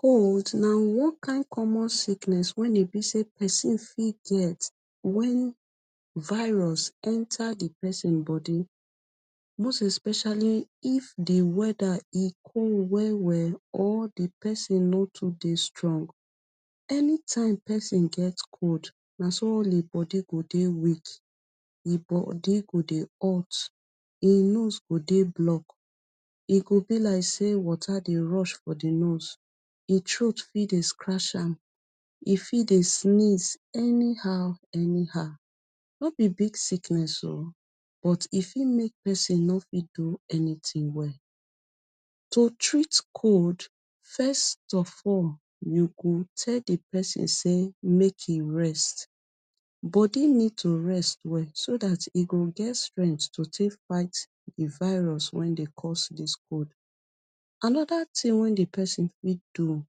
cold na one kind common sickness wen e be say pesin fit get wen virus e enta e pesin bodi most especially if e weather e cold well well or di pesin no too dey strong anytime pesin get cold na so all him bodi go dey weak him bodi go dey hot him nose go dey block e go be like say water dey rush for di nose e throat fit dey scratch am e fit dey sneeze anyhow anyhow no bi big sickness o but e fit make pesin no fit do anything well to treat cold first of all you go tell di pesin make e rest bodi need to rest well so dat e go get strength take fight di virus wen dey cos dis cold anoda tin di pesin fit do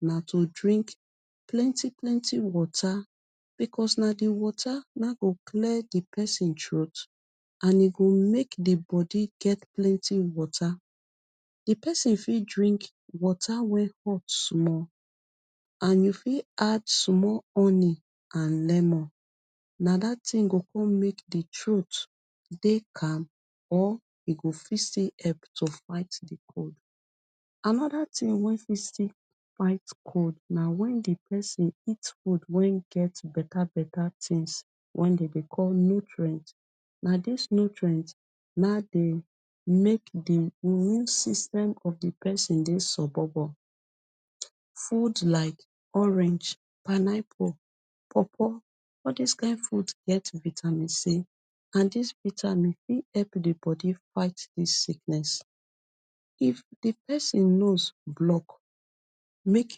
na to drink plenty plenty water becos na di water go clear pesin throat and e go make di bodi get plenty water di pesin fit drink water wey hot small and you fit add small honey and lemon na dat go come make di throat dey calm or e go fit see help take fight di cold anoda tin wen fit still fight cold na wen di pesin eat food wen get beta beta tins wen dey dey call nutrient na dis nutrient na dey make di immune system of di pesin dey sobobo food like orange pineapple pawpaw all dis kin food get vitamin c and dis vitamin fit elp di bodi fight dis sickness if di pesin nose block make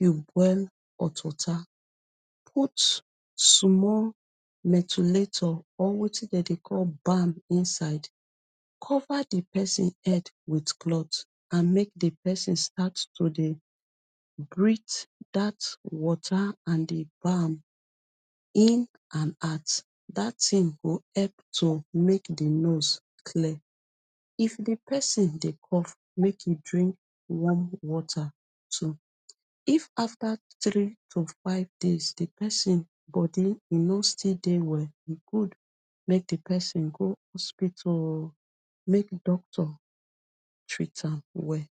you boil hot water put small metulato or wetin dey dey call balm inside cover di pesin head with cloth and make di pesin start to dry breath dat water and di balm in and out dat tin go help make di nose clear if di pesin dey cough make e drink warm water too if after three to five days di pesin bodi no still dey well e good make di pesin go hospital o make doctor treat am well.